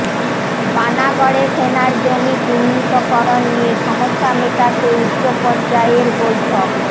পানাগড়ে সেনার জমি চিহ্নিতকরণ নিয়ে সমস্যা মেটাতে উচ্চপর্যায়ের বৈঠক